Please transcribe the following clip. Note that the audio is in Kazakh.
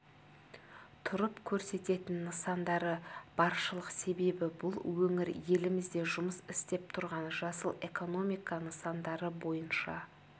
тұрып көрсететін нысандары баршылық себебі бұл өңір елімізде жұмыс істеп тұрған жасыл экономика нысандары бойынша